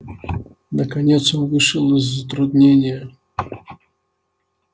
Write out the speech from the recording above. наконец он вышел из затруднения